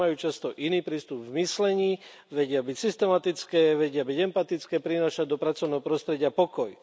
Ženy majú často iný prístup v myslení, vedia byť systematické, vedia byť empatické, prinášať do pracovného prostredia pokoj.